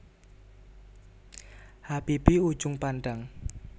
Habibie Ujung Pandang